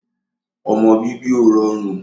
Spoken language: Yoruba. ọmọ bíbí ò rọrùn